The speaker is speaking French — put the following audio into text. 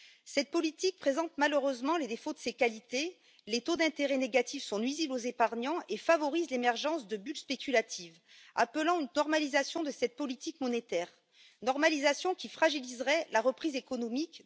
Cette politique présente malheureusement les défauts de ses qualités les taux d'intérêt négatifs sont nuisibles aux épargnants et favorisent l'émergence de bulles spéculatives, appelant une normalisation de cette politique monétaire, normalisation qui fragilise la reprise économique.